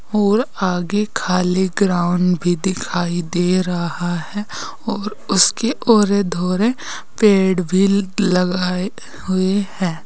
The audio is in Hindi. और आगे खाली ग्राउंड भी दिखाई दे रहा है और उसके औरे धोरे पेड़ भी लगाए हुए हैं।